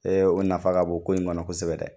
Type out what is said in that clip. Ee o nafa ka bon ko in kɔnɔ kosɛbɛ dɛ